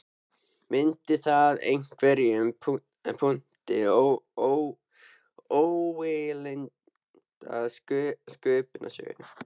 Mundi það í einhverjum punkti ógilda sköpunarsögu